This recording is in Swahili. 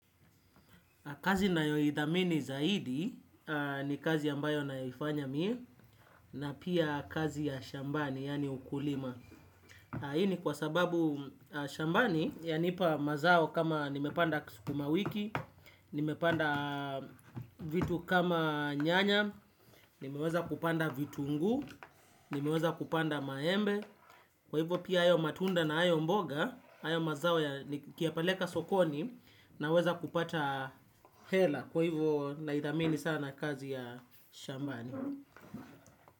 Kazi ninaayoidhamini zaidi ni kazi yambayo naifanya mi na pia kazi ya shambani yaani ukulima. Hii ni kwa sababu shambani yanipa mazao kama nimepanda sukumawiki, nimepanda vitu kama nyanya, nimeweza kupanda vitunguu, nimeweza kupanda maembe. Kwa hivyo pia hayo matunda na hayo mboga. Ayo mazao ya nikiyapeleka sokoni naweza kupata hela. Kwa hivyo naidhamini sana kazi ya shambani.